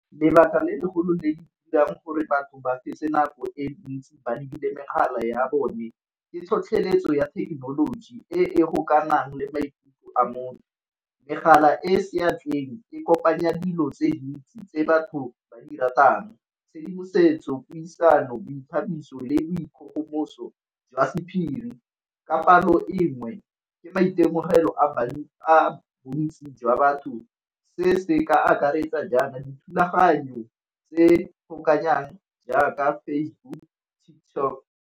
Lebaka le legolo le di dirang gore batho ba fetse nako e ntsi ba lebile megala ya bone ke tlhotlheletso ya thekenoloji e e gokanang le maikutlo a motho. Megala e e seatleng e kopanya dilo tse di ntsi tse batho ba di ratang, tshedimosetso, puisano, boithabiso, le boikgogomoso jwa sephiri ka palo e nngwe ke maitemogelo a bontsi jwa batho. Se se ka akaretsa jaana dithulaganyo tse kgobokanyo jaaka Facebook, TikTok.